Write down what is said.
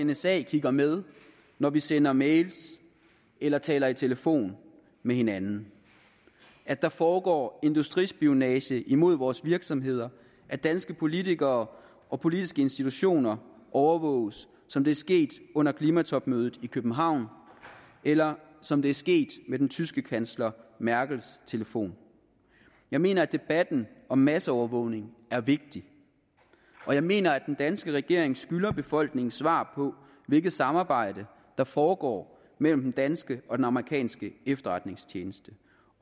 nsa kigger med når vi sender mails eller taler i telefon med hinanden at der foregår industrispionage imod vores virksomheder at danske politikere og politiske institutioner overvåges som det er sket under klimatopmødet i københavn eller som det er sket med den tyske kansler merkels telefon jeg mener at debatten om masseovervågning er vigtig og jeg mener at den danske regering skylder befolkningen svar på hvilket samarbejde der foregår mellem den danske og den amerikanske efterretningstjeneste